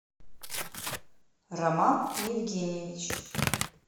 роман евгеньевич